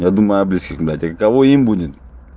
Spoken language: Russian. я думаю о близких а какого им будет